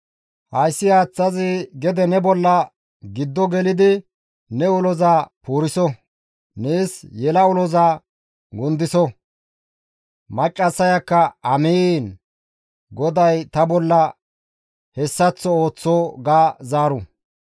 Hayssi haaththazi gede ne bolla giddo gelidi ne uloza puuriso! Nees yela uloza gundiso!› Maccassayakka, ‹Amiin! GODAY ta bolla hessaththo ooththo› ga zaaru.